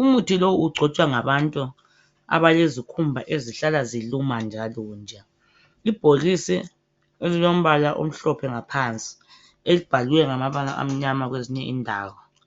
umuthi lo ugcotshwa ngabantu abalezikhumba ezihlala ziluma njalonje nje. Ibhokisi elilombala omhlophe ngaphansi lamabala amnyama kwezinye indawo.